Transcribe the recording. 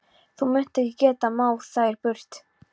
Þú munt ekki geta máð þær burt.